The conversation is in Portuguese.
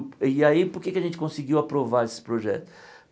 E aí, por que é que a gente conseguiu aprovar esse projeto?